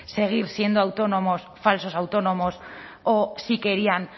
seguir siendo autónomos falsos autónomos o si querían